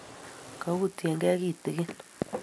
Koutyekei kitigin